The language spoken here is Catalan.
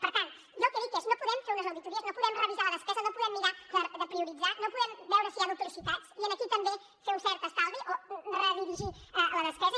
per tant jo el que dic és no podem fer unes auditories no podem revisar la despesa no podem mirar de prioritzar no podem veure si hi ha duplicitats i aquí també fer un cert estalvi o redirigir la despesa